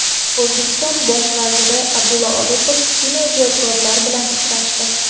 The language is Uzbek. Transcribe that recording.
O‘zbekiston bosh vaziri Abdulla Aripov kinoijodkorlar bilan uchrashdi.